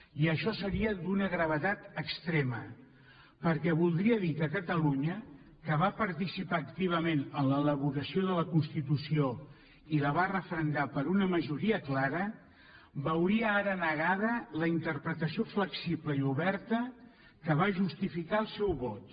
i això seria d’una gravetat extrema perquè voldria dir que catalunya que va participar activament en l’elaboració de la constitució i la va referendar per una majoria clara veuria ara negada la interpretació flexible i oberta que va justificar el seu vot